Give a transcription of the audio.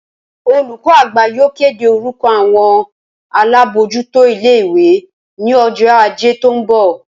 Olùkó àgbà yóò kéde orúko àwon alábójútó ilé ìwé ní ojó Ajé tó n bò